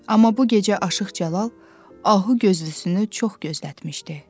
Amma bu gecə Aşıq Cəlal ahu gözlüsünü çox gözlətmişdi.